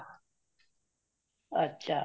ਅੱਛਾ